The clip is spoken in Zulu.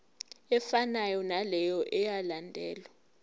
efanayo naleyo eyalandelwa